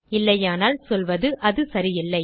இல்லையானால் சொல்வது அது சரியில்லை